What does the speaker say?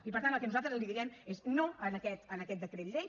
i per tant el que nosaltres direm és no a aquest decret llei